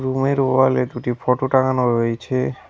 রুমের ওয়ালে দুটি ফোটো টাঙানো রয়েছে।